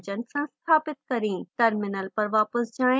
terminal पर वापस जाएँ